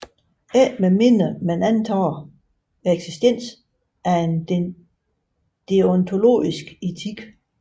Ikke med mindre man antager eksistensen af en deontologisk etik